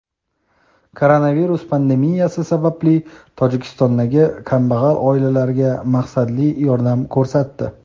koronavirus pandemiyasi sababli Tojikistondagi kambag‘al oilalarga maqsadli yordam ko‘rsatdi.